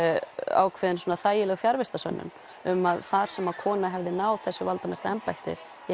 ákveðin þægileg fjarvistarsönnun um að þar sem að kona hefði náð þessu valdamesta embætti í